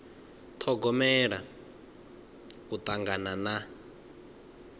ṱhogomela u tangana na